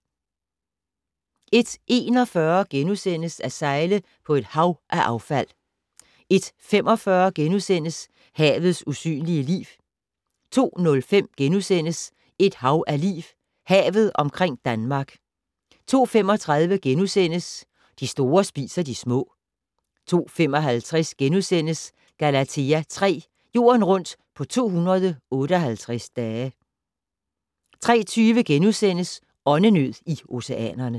01:41: At sejle på et hav af affald * 01:45: Havets usynlige liv * 02:05: Et hav af liv - Havet omkring Danmark * 02:35: De store spiser de små * 02:55: Galathea 3: Jorden rundt på 258 dage * 03:20: Åndenød i oceanerne *